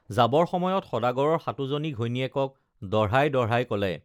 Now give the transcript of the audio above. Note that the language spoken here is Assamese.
যাবৰ সময়ত সদাগৰৰ সাতোজনী ঘৈণীয়েকক দঢ়াই দঢ়াই কলে